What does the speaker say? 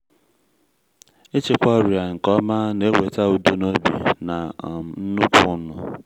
ịchịkwa ọrịa nke ọma na-eweta udo n’obi na um nnukwu ụnụ.